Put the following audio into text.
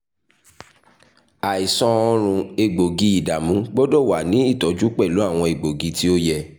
aisan ọrùn egboogi-idamu gbọdọ wa ni itọju pẹlu awọn egboogi ti o yẹ